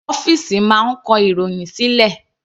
Ọ́fìsì máa ń kọ ìròhìn sílẹ̀.